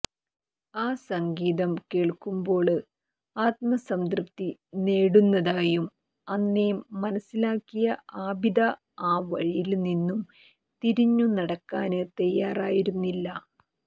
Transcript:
ആ സംഗീതം കേള്ക്കുമ്പോള് ആത്മസംതൃപ്തി നേടുന്നതായും അന്നേ മനസ്സിലാക്കിയ ആബിദ ആ വഴിയില് നിന്നും തിരിഞ്ഞുനടക്കാന് തയ്യാറായിരുന്നില്ല